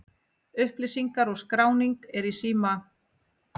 Upplýsingar og skráning er í síma.